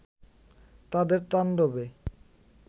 তাদের তাণ্ডবে